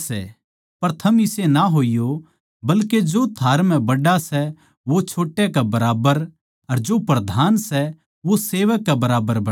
पर थम इसे ना होइयो बल्के जो थारै म्ह बड्ड़ा सै वो छोटे कै बरोब्बर अर जो प्रधान सै वो सेवक कै बरोब्बर बणै